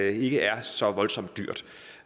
ikke er så voldsomt dyrt